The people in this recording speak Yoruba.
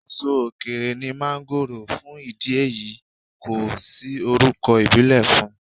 Èso òkèèrè ní máńgòrò, fún ìdí èyí kò sí orúkọ̀ ìbílè fún.